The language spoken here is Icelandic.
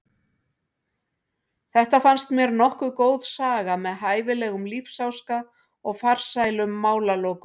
Þetta fannst mér nokkuð góð saga með hæfilegum lífsháska og farsælum málalokum.